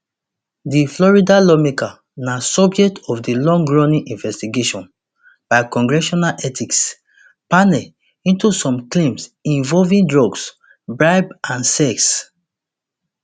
di florida lawmaker na subject of a longrunning investigation by congressional ethics panel into some claims involving drugs bribes and sex